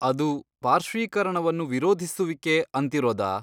ಅದು ,ಪಾರ್ಶ್ವೀಕರಣವನ್ನು ವಿರೋಧಿಸುವಿಕೆ, ಅಂತಿರೋದಾ?